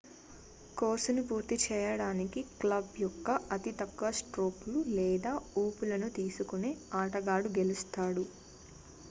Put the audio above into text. కోర్సును పూర్తి చేయడానికి క్లబ్ యొక్క అతి తక్కువ స్ట్రోకులు లేదా ఊపులను తీసుకునే ఆటగాడు గెలుస్తాడు